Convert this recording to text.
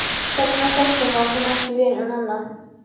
Hérna Þorsteinn, var hann ekki vinur Nonna?